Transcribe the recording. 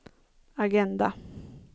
agenda